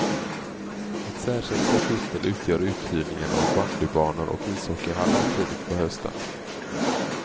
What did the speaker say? Ett särskilt kapitel utgör uthyrningen av bandybanor och ishockeyhallar tidigt på hösten.